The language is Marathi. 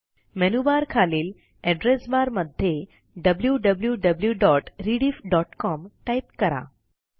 मेनूबारखालील एड्रेस बार मध्ये wwwrediffcom टाईप करा